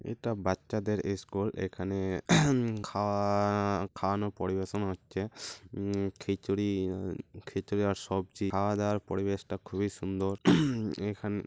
এটা বাচ্ছাদের স্কুল এখানে উম খাওয়া খাওয়ানো পরিবেশন হচ্ছে খিচুরি খিচুরি আর সবজি খাওয়া দাওয়ার পরিবেশ টা খুবই সুন্দর উহহ এখানে।